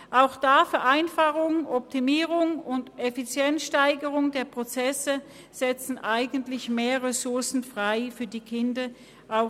Auch da setzen eigentlich Vereinfachung, Optimierung und Steigerung der Effizienz der Prozesse mehr Ressourcen für die Kinder frei.